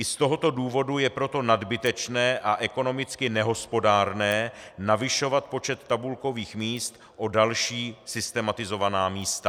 I z tohoto důvodu je proto nadbytečné a ekonomicky nehospodárné navyšovat počet tabulkových míst o další systematizovaná místa.